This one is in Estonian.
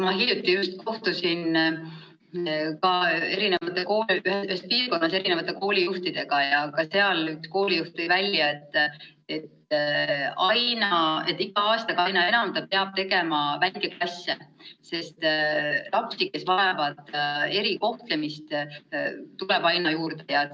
Ma hiljuti just kohtusin ka eri piirkondade koolijuhtidega ja ka seal üks koolijuht rääkis, et ta peab iga aastaga aina enam tegema väikeklasse, sest lapsi, kes vajavad erikohtlemist, tuleb aina juurde.